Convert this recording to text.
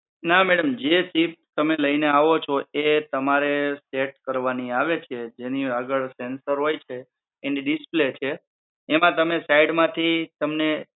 ના madam જે chip તમે લઈને આવો છો એ તમારે set કરવાની આવે છે જેની આગળ sensor હોય છે એની display કે એમાં તમારે side માંથી તમને